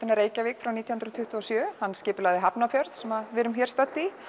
að Reykjavík frá nítján hundruð tuttugu og sjö hann skipulagði Hafnarfjörð sem við erum stödd í